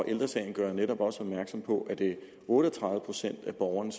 ældre sagen gør jo netop også opmærksom på at det er otte og tredive procent af borgerne